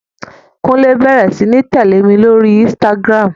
Kúnlé bẹrẹ sí ní tẹ̀lẹ́ mi ní orí Instagram.